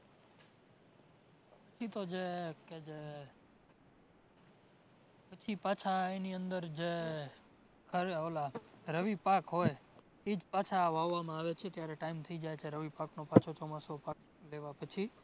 એ તો જે કે જે પછી પાછા એની અંદર જે ઓલા રવિ પાક હોય ઈજ પાછા વાવામાં આવે છે જ્યારે time થઈ જાય છે રવિ પાકનો પાછો ચોમાસુ પછી